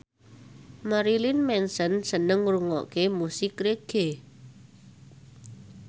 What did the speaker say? Marilyn Manson seneng ngrungokne musik reggae